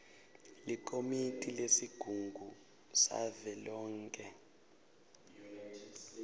likomiti lesigungu savelonkhe